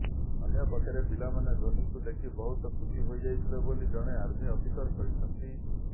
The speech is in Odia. ଅନ୍ୟପକ୍ଷରେ ପିଲାମାନେ ଧୋନିଙ୍କୁ ଦେଖି ବହୁତ ଖୁସି ହୋଇଯାଇଥିଲେ ବୋଲି ଜଣେ ଆର୍ମି ଅଫିସର କହିଛନ୍ତି